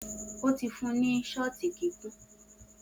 O ti fun ni kikun shot.